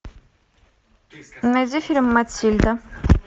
найди фильм матильда